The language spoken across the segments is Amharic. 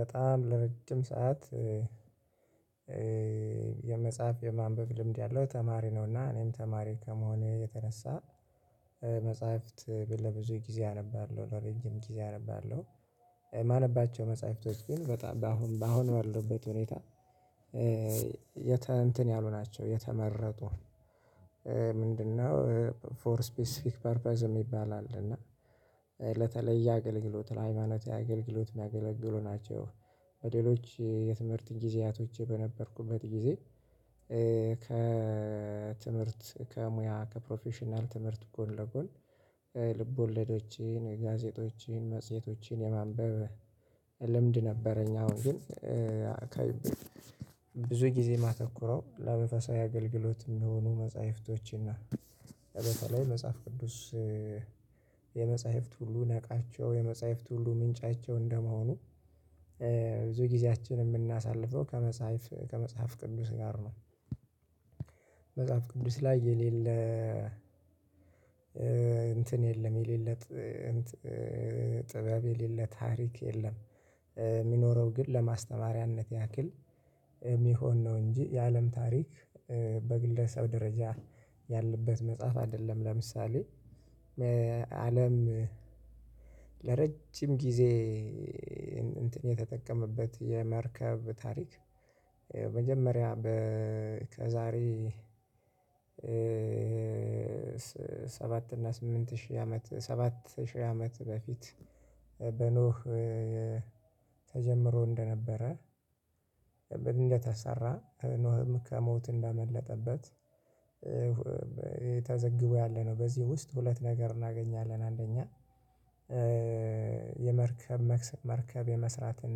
በጣም ለረጅም ሰዓት የመጽሐፍ የማንበብ ልምድ ያለው ተማሪ ነው፤ እና እኔም ተማሪ ከመሆኔ የተነሳ መጽሐፍት ብ ለብዙ ጊዜ አነባለሁ፣ ለረጅም ጊዜ አነባለሁ። የማነባቸው መጽሐፍቶች ግን በጣም በአሁን በአሁን ባሉበት ሁኔታ የተ እንትን ያሉ ናቸው የተመረጡ ምንድነው ፎር ስፔሲፊክ ፐርፐዝ የሚባል አለ እና ለተለየ አገልግሎት ለሃይማኖታዊ አገልግሎት ሚያገለግሉ ናቸው። በሌሎች የትምህርት ጊዜያቶቼ በነበርኩበት ጊዜ ከትምህርት፣ ከሙያ፣ ከፕሮፌሽናል ትምህርት ጎን ለጎን ልብ ወለዶችን፣ ጋዜጦችን፣ መጽሄቶችን የማንበብ ልምድ ነበረኝ አዎ ግን አካባቢ ብዙ ጊዜ ማተኩረው ለመንፈሳዊ አገልግሎት የሚሆኑ መጽሐፍቶችን ነው። በተለይ መጽሐፍ ቅዱስ የመጽሐፍት ሁሉ ነቃቸው የመጽሐፍት ሁሉ ምንጫቸው እንደመሆኑ ብዙ ጊዜያችን የምናሳልፈው ከመጽሐፍ ከመጽሐፍ ቅዱስ ጋር ነው። መጽሐፍ ቅዱስ ላይ የሌለ እንትን የለም የሌለ ጥ ጥበብ የሌለ ታሪክ የለም። የሚኖረው ግን ለማስተማሪያነት ያክል የሚሆን ነው እንጂ የአለም ታሪክ በግለሰብ ደረጃ ያለበት መጽሐፍ አይደለም። ለምሳሌ አለም ለረጅም ጊዜ እንትን የተጠቀመበት የመርከብ ታሪክ መጀመሪያ በ ከዛሬ ሰባት እና ስምንት ሺህ አመት ሰባት ሺህ አመት በፊት በኖህ ተጀምሮ እንደነበረ እንደተሰራ ኖህም ከሞት እንዳመለጠበት ተዘግቦ ያለ ነው። በዚህ ውስጥ ሁለት ነገር እናገኛለን አንደኛ የመርከብ መርከብ የመስራትን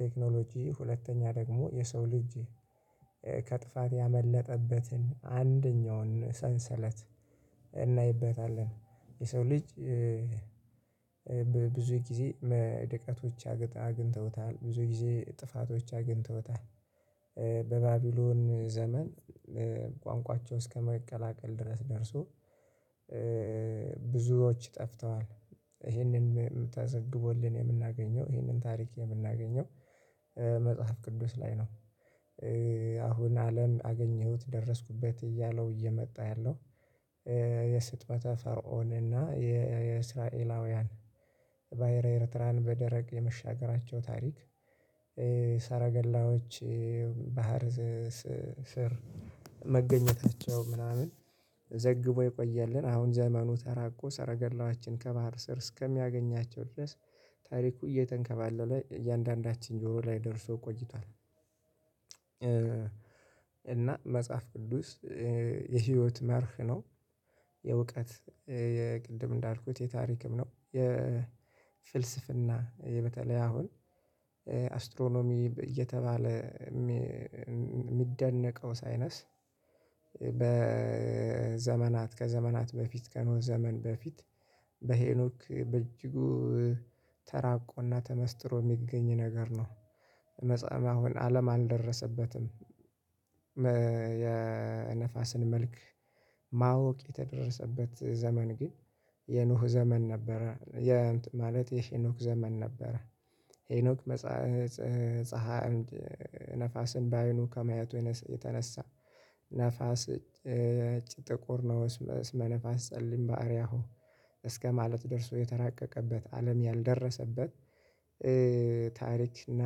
ቴክኖሎጂ ሁለተኛ ደግሞ የሰው ልጅ ከጥፋት ያመለጠበትን አንደኛውን ሰንሰለት እናይበታለን። የሰው ልጅ ብዙ ጊዜ መደቀቶች አግ አግኝተውታል ብዙ ጊዜ ጥፋቶች አግኝተውታል። በባቢሎን ዘመን ቋንቋቸው እስከመቀላቀል ድረስ ደርሶ ብዙዎች ጠፍተዋል። ይህንንም ተዘግቦልን የምናገኘው ይህንን ታሪክ የምናገኘው መጽሐፍ ቅዱስ ላይ ነው። አሁን አለም አገኘሁት ደረስኩበት እያለው እየመጣ ያለው የስጥመተ ፈርዖን እና የእስራኤላውያን ባህረ ኤርትራን በደረቅ የመሻገራቸው ታሪክ ሰረገላዎች ባህር ስር መገኘታቸው ምናምን ዘግቦ የቆየልን አሁን ዘመኑ ተራቆ ሰረገላዋችን ከባህር ስር እስከሚያገኛቸው ድረስ ታሪኩ እየተንከባለለ እያንዳንዳችን ጆሮ ላይ ደርሶ ቆይቷል፤ እና መጽሐፍ ቅዱስ የህይወት መርህ ነው። የእውቀት የ ቅድም እንዳልኩት የታሪክም ነው፣ የፍልስፍና በተለይ አሁን አስትሮኖሚ እየተባለ የሚ የሚደነቀው ሳይነስ በዘመናት ከዘመናት በፊት ከኖህ ዘመን በፊት በሄኖክ በእጅጉ ተራቆና ተመስጥሮ የሚገኝ ነገር ነው። መጽሐ አሁን አለም አልደረሰበትም የነፋስን መልክ ማወቅ የተደረሰበት ዘመን ግን የኖህ ዘመን ነበረ፣ ማለት የሄኖክ ዘመን ነበረ። ሄኖክ መጻህ ጽህ ጸሐ ነፋስን በአይኑ ከመያቱ የነስ የተነሳ ነፋስ ጥቁር ነው መነፋስ ጸልይ ባህሪያሁ እስከማለት ደርሶ የተራቀቀበት አለም ያልደረሰበት ታሪክ እና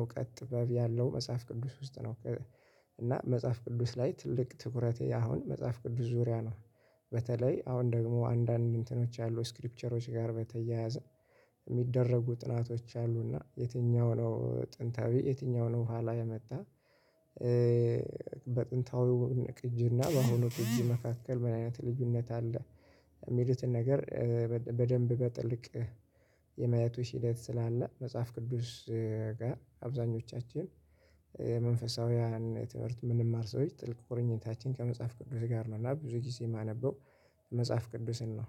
እውቀት ጥበብ ያለው መጽሐፍ ቅዱስ ውስጥ ነው። እና መጽሐፍ ቅዱስ ላይ ትልቅ ትኩረቴ አሁን መጽሐፍ ቅዱስ ዙሪያ ነው። በተለይ አሁን ደግሞ አንዳንድ እንትኖች አሉ ስክሪፕቸሮች ጋር በተያያዘ የሚደረጉ ጥናቶች አሉ እና የትኛው ነው ጥንታዊ የትኛው ነው በኋላ የመጣ በጥንታዊው ቅጂና በአሁኑ ቅጂ መካከል ምን አይነት ልዩነት አለ የሚሉትን ነገር በደንብ በጥልቅ የማየቱ ሂደት ስላለ መጽሐፍ ቅዱስ ጋር አብዛኞቻችን የመንፈሳውያን ትምህርት የምንማር ሰዎች ጥልቅ ቁርኝታችን ከመጽሐፍ ቅዱስ ጋር ነው፤ እና ብዙ ጊዜ የማነበው መጽሐፍ ቅዱስን ነው።